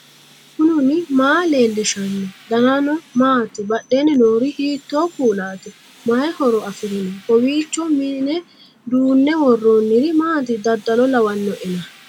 knuni maa leellishanno ? danano maati ? badheenni noori hiitto kuulaati ? mayi horo afirino ? kowiicho mine duunne worroonniri maati dadalo lawannoena